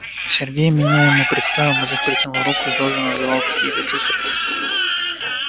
сергей меня ему представил мужик протянул руку и тоже называл какие-то циферки